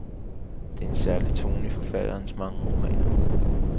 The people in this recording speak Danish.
Der er en særlig tone i forfatterens mange romaner.